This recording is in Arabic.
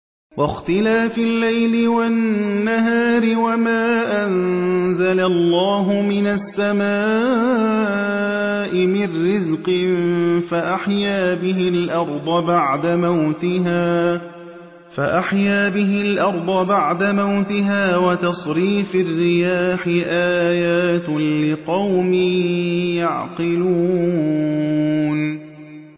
وَاخْتِلَافِ اللَّيْلِ وَالنَّهَارِ وَمَا أَنزَلَ اللَّهُ مِنَ السَّمَاءِ مِن رِّزْقٍ فَأَحْيَا بِهِ الْأَرْضَ بَعْدَ مَوْتِهَا وَتَصْرِيفِ الرِّيَاحِ آيَاتٌ لِّقَوْمٍ يَعْقِلُونَ